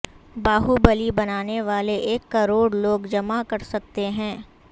باہوبلی بنانے والے ایک کروڑ لوگ جمع کرسکتے ہیں